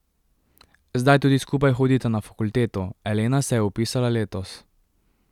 Zdaj tudi skupaj hodita na fakulteto, Elena se je vpisala letos.